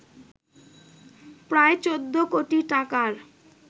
প্রায় ১৪ কোটি টাকার